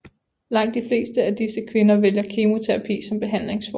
Langt de fleste af disse kvinder vælger kemoterapi som behandlingsform